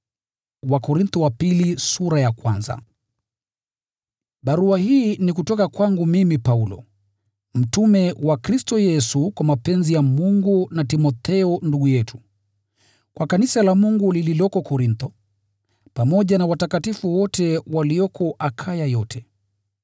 Barua hii ni kutoka kwangu mimi Paulo, mtume wa Kristo Yesu kwa mapenzi ya Mungu, na Timotheo ndugu yetu, Kwa kanisa la Mungu lililoko Korintho, pamoja na watakatifu wote walioko Akaya yote: